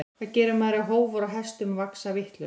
Hvað gerir maður ef hófar á hestum vaxa vitlaust?